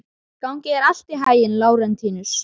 Gangi þér allt í haginn, Lárentíus.